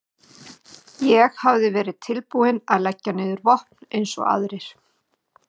Ég hafði verið tilbúinn að leggja niður vopn eins og aðrir.